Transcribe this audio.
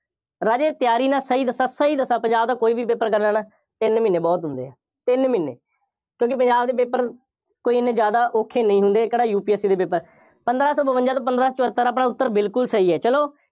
ਰਾਜੇ ਤਿਆਰੀ ਮੈਂ ਸਹੀ ਦੱਸਾਂ, ਸਹੀ ਦੱਸਾਂ, ਪੰਜਾਬ ਦਾ ਕੋਈ ਵੀ paper ਕਰਨਾ ਨਾ, ਤਿੰਨ ਮਹੀਨੇ ਬਹੁਤ ਹੁੰਦੇ ਆ, ਤਿੰਨ ਮਹੀਨੇ, ਕਿਉਂਕਿ ਪੰਜਾਬ ਦੇ paper ਕੋਈ ਐਨੇ ਜ਼ਿਆਦਾ ਔਖੇ ਨਹੀਂ ਹੁੰਦੇ, ਇਹ ਕਿਹੜਾ UPSC ਦੇ paper ਪੰਦਰਾਂ ਸੌਂ ਬਵੰਜ਼ਾ ਤੋਂ ਪੰਦਰਾਂ ਸੌ ਸੱਤਰ ਆਪਣਾ ਉੱਤਰ ਬਿਲਕੁੱਲ ਸਹੀ ਹੈ, ਚੱਲੋ,